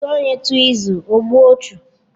Otu onye tụọ ịzụ, ogbuo ọchụ